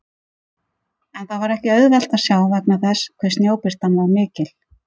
En það var ekki auðvelt að sjá vegna þess hve snjóbirtan var mikil.